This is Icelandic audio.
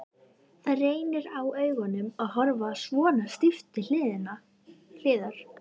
Það reynir á augun að horfa svona stíft til hliðar.